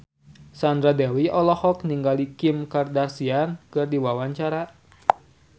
Sandra Dewi olohok ningali Kim Kardashian keur diwawancara